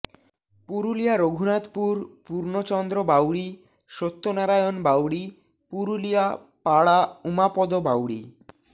Purulia Raghunathpur Purnachandra Bauri Satyanarayan Bauri Purulia Para Umapada Bauri